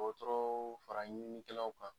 dɔtɔrɔw fara ɲininninkɛlaw kan.